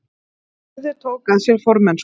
Njörður tók að sér formennsku